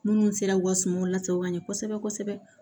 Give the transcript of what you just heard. Minnu sera u ka sumaw lasago ka ɲɛ kosɛbɛ kosɛbɛ